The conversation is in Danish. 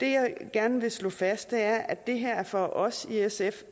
gerne vil slå fast er at for os i sf